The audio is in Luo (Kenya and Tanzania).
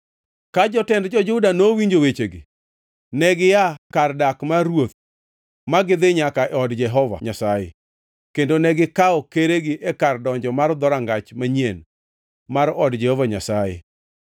Ka jotend jo-Juda nowinjo wechegi, negia kar dak mar ruoth ma gidhi nyaka e od Jehova Nyasaye kendo negikawo keregi e kar donjo mar Dhorangach Manyien mar od Jehova Nyasaye.